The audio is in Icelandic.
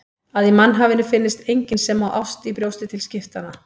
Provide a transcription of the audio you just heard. Að í mannhafinu finnist enginn sem á ást í brjósti til skiptanna.